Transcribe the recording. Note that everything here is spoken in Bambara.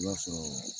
I b'a sɔrɔ